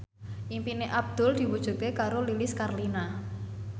impine Abdul diwujudke karo Lilis Karlina